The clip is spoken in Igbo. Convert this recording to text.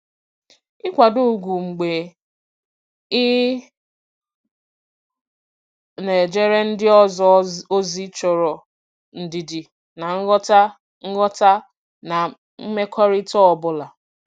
Ịkwado ugwu mgbe ị na-ejere ndị ọzọ ozi chọrọ ndidi na nghọta nghọta na mmekọrịta ọ bụla.